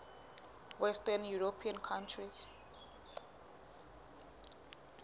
western european countries